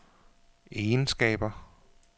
egenskaber